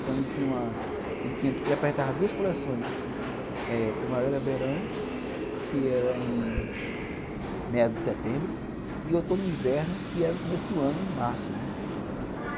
Então, tinha uma... ele tinha, ele apresentava duas coleções eh Primavera e Verão, que era em meados de setembro, e Outono e Inverno, que era no começo do ano, em março, né.